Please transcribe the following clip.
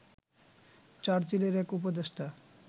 চার্চিলের এক উপদেষ্টা